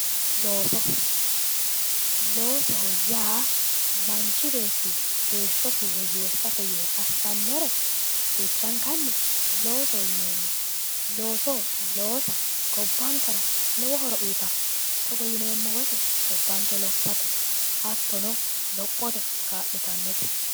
Looso, loosoho yaa manchu beetti heeshshosi woyyeessate yee assannore duuchankanni loosoho yineemmo. Looso loosa gobbankera lowo horo uyita. Togo yineemmo wote gabbanke lossate hattono lophote kaa'litannote.